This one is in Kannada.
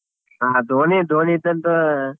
ಹಾ ಧೋನಿ ಧೋನಿ ದ್ದಂತ.